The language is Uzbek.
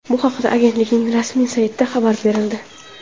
Bu haqda Agentlikning rasmiy saytida xabar berildi .